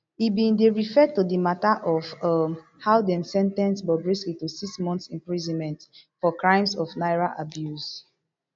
e bin dey refer to di mata of um how dem sen ten ce bobrisky to six months imprisonment for crimes of naira abuse